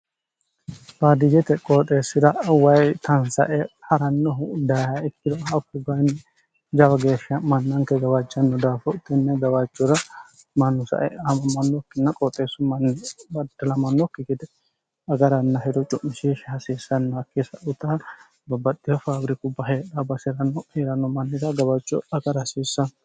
baadiyete qooxeessira wayi tansae ha'rannohu dayiha ittiro a uutu bayinni jawa geeshsha mannanke gawaajjanno daafo tinne gawachura manusae amammannokkinna qooxeessu mnni baddilamannokki gede agaranna hero cu'mishiishshi hasiissannoakkisa utaa babbaxxiho faabiriku baheedha basi'ranno hieranno mannira gawacho agara hasiissanno